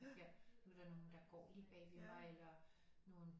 Her nu er der nogen der går lige bagved mig eller nogen